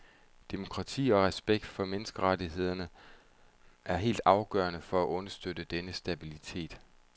Demokrati og respekt for menneskerettighederne er helt afgørende for at understøtte denne stabilitet.